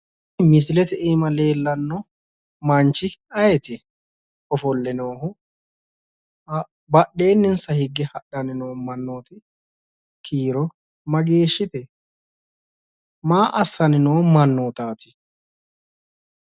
Kuni misilete iima leellano manchi ayeeti ? Ofole noohu badhensaanni hige hadhanni noo kiiro mageeshite, maa assanni noo mannottati ?